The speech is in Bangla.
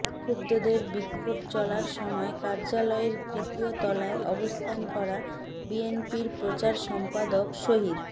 বিক্ষুব্ধদের বিক্ষোভ চলার সময় কার্যালয়ের তৃতীয় তলায় অবস্থান করা বিএনপির প্রচার সম্পাদক শহীদ